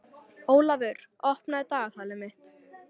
Ólafur, opnaðu dagatalið mitt.